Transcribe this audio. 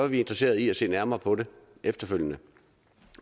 vi interesseret i at se nærmere på det efterfølgende